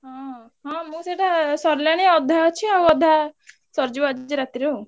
ହଁ ହଁ ମୁଁ ସେଇଟା ସରିଲାଣି ଅଧା ଅଛି ଆଉ ଅଧା ସରିଯିବ ଆଜି ରାତିରେ ଆଉ।